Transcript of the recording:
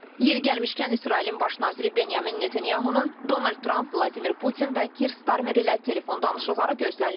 Yeri gəlmişkən, İsrailin Baş naziri Benyamin Netanyahunun Donald Trump, Vladimir Putin və Kier Starmer ilə telefon danışıqları gözlənilir.